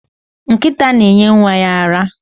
Nkita na enye Nwa ya ara